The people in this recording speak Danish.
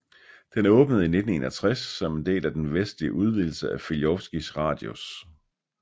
Den åbnede i 1961 som en del af den vestlige udvidelse af Filjovskij radius